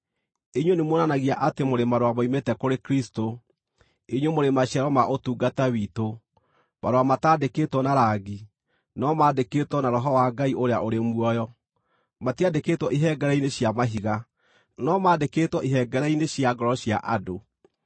Inyuĩ nĩmuonanagia atĩ mũrĩ marũa moimĩte kũrĩ Kristũ, inyuĩ mũrĩ maciaro ma ũtungata witũ, marũa mataandĩkĩtwo na rangi, no maandĩkĩtwo na Roho wa Ngai ũrĩa ũrĩ muoyo. Matiandĩkĩtwo ihengere-inĩ cia mahiga, no maandĩkĩtwo ihengere-inĩ cia ngoro cia andũ.